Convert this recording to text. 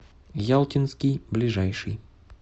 ялтинский ближайший